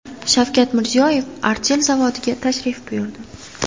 Shavkat Mirziyoyev Artel zavodiga tashrif buyurdi.